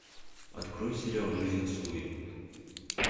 открой сериал жизнь с луи